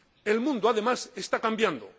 El mundo, además, está cambiando.